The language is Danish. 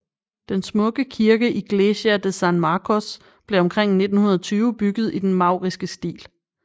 Den smukke kirke Iglesia de San Marcos blev omkring 1920 bygget i den mauriske stil